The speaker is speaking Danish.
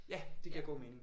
Ja det giver god mening